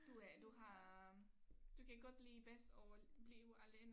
Du er du har du kan godt lide bedst at blive alene